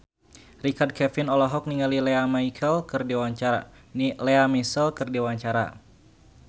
Richard Kevin olohok ningali Lea Michele keur diwawancara